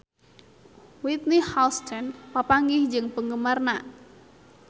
Whitney Houston papanggih jeung penggemarna